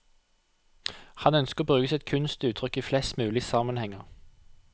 Han ønsker å bruke sitt kunstuttrykk i flest mulig sammenhenger.